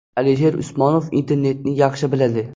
Alisher Usmonov internetni yaxshi biladi.